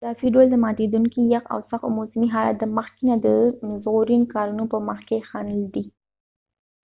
په اضافی ډول د ماتیدونکې یخ او سخت موسمی حالات د مخکې نه د ژغورنی کارونو په مخ کې خنډ دي